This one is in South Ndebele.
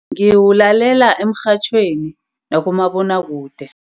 Ngiwulalela emrhatjhweni nakumabonwakude.